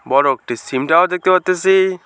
বড় একটি SIM tower দেখতে পারতাসি।